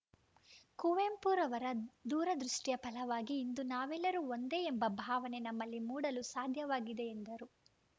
ಕುವೆಂಪುರವರ ದೂರದೃಷ್ಟಿಯ ಫಲವಾಗಿ ಇಂದು ನಾವೆಲ್ಲರೂ ಒಂದೇ ಎಂಬ ಭಾವನೆ ನಮ್ಮಲ್ಲಿ ಮೂಡಲು ಸಾಧ್ಯವಾಗಿದೆ ಎಂದರು